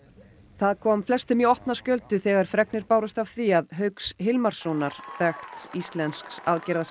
það kom flestum í opna skjöldu þegar fregnir bárust af því að Hauks Hilmarssonar þekkts íslensks